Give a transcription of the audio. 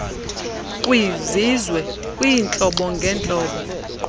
kwizizwe kwiintlobo ngentlobo